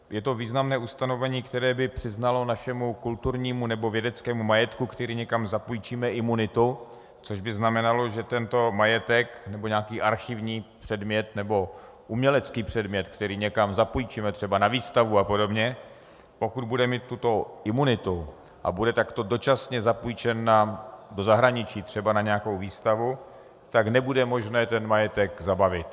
Je to významné ustanovení, které by přiznalo našemu kulturnímu nebo vědeckému majetku, který někam zapůjčíme, imunitu, což by znamenalo, že tento majetek nebo nějaký archivní předmět nebo umělecký předmět, který někam zapůjčíme, třeba na výstavu a podobně, pokud bude mít tuto imunitu a bude takto dočasně zapůjčen do zahraničí, třeba na nějakou výstavu, tak nebude možné ten majetek zabavit.